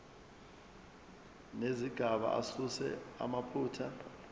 nezigaba asuse amaphutha